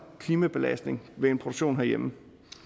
klimabelastning ved en produktion herhjemme